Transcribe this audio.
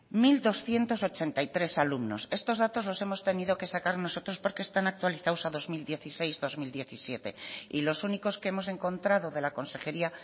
mil doscientos ochenta y tres alumnos estos datos los hemos tenido que sacar nosotros porque están actualizados a dos mil dieciséis dos mil diecisiete y los únicos que hemos encontrado de la consejería